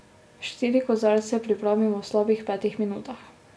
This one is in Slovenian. Štiri kozarce pripravimo v slabih petih minutah.